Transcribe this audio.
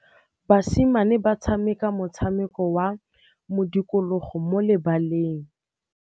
Basimane ba tshameka motshameko wa modikologô mo lebaleng.